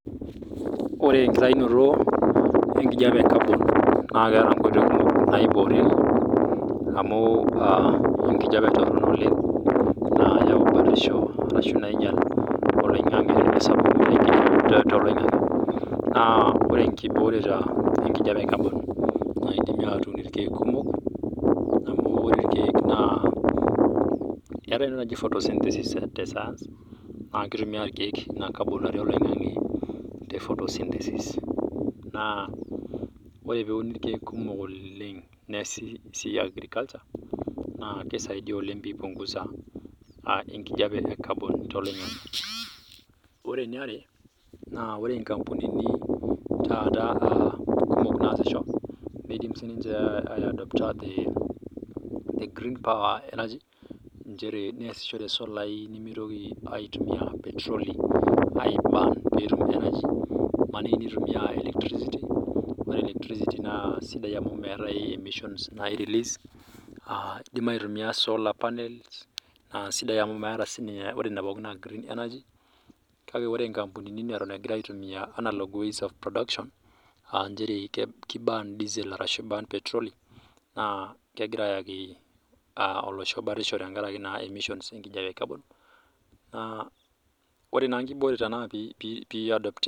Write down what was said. Ore enkitainoto enkijiape ee carbon naa ketaa nkoitoi naiboriekie amu enkijiape Torono nainyial oloingange tenesapuku too loingange naa ore enkiborete enkijiape ee carbon naa kidimi atum irkeek kumok ore irkeek naa keetae entoki naaji photosynthesis tee science naa kitumia irkeek ena carbon natii oloingange tee photosynthesis naa ore pee Eun irkeek kumok oleng nias esiai ee agriculture naa keisaidia oleng pee epunguza enkijiape ecarbon too loingange ore eniare naa ore nkampunini kumok taata nasisho midim taaa aidopta the green power energy njeere neyasishore solai nimitoki aitumia petroli aiburn petum energy emaniki etumia electricity ore electricity naa sidai amu meeta emisons nani release edim aitumia solar panel naa sidai amu meeta ninche ore Nena pookin naa gree energy kak ore nkampunini pookin neton egira aitumia unlock ways of production aa njere kuburn diesel arashu eburn petroli naa kegira ayaki olosho Bata tenkaraki emissions enkijiape ecarbon naa ore naa nkibore naa pee aiadaputi